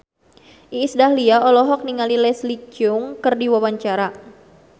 Iis Dahlia olohok ningali Leslie Cheung keur diwawancara